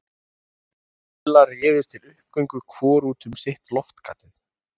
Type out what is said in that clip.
Magga og Lilla réðust til uppgöngu hvor út um sitt loftgatið.